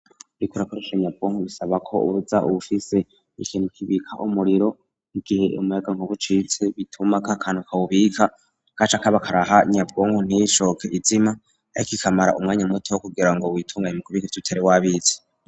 Uriko urakoresha nyabwonko bisaba ko uba ufise ikintu k'ibika umuriro igihe umuyagankuba ucitse bituma k'akantu kabubika kaca kaba karaha nyabwonko ntishoke izima ariko ikamara umwanya muto kugira ngo witunganye mukugira ubike ico utari w'abitse.